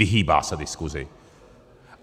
Vyhýbá se diskusi!